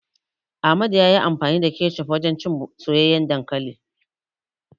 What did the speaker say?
Amadu ya yi amfani da kecof wajen cin soyayyen dankali.